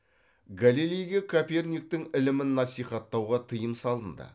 галилейге коперниктің ілімін насихаттауға тыйым салынды